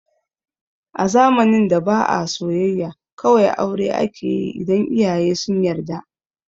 A zamanin da ba a soyayya, kawai aure akeyi idan iyaye sun yarda